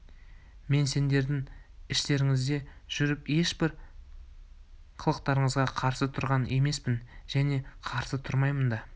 мен сіздердің іштеріңізде жүріп ешбір қылықтарыңызға қарсы тұрған емеспін және қарсы тұрмаймын да